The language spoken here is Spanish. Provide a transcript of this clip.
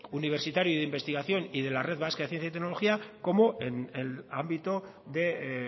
universitario y de investigación y de la red vasca de ciencia y tecnología como en el ámbito de